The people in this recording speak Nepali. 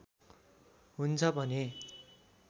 हुन्छ भने